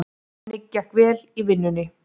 Henni gekk vel í vinnunni.